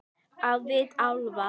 Á vit álfa.